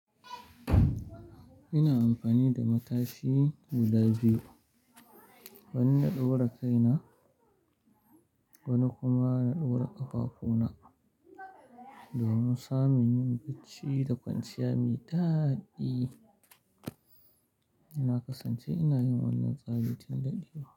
Ina amfani da matashi guda biyu, wani na ɗaura kaina wani kuma na ɗaura ƙafafuna. Domin samin yin bacci da kwanciya me daɗi, na kasance ina yin wannan tsarin tin ɗaɗewa.